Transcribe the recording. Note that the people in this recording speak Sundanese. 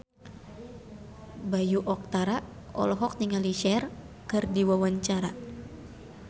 Bayu Octara olohok ningali Cher keur diwawancara